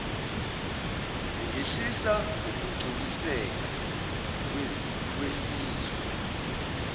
zingehlisa ukugculiseka kwesizwe